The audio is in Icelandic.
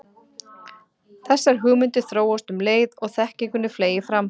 Þessar hugmyndir þróast um leið og þekkingunni fleygir fram.